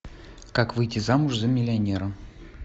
как выйти замуж за миллионера